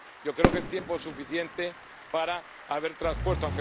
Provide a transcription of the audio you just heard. Yo creo que es tiempo suficiente para haberlas transpuesto.